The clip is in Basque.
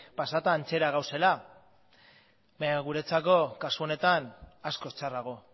pasata antzera gaudela baina guretzako kasu honetan askoz txarrago